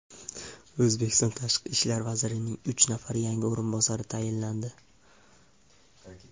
O‘zbekiston Tashqi ishlar vazirining uch nafar yangi o‘rinbosari tayinlandi.